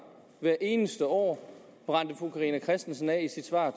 hvert eneste år brændte fru carina christensen af i sit svar